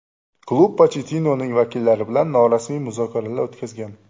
Klub Pochettinoning vakillari bilan norasmiy muzokaralar o‘tkazgan.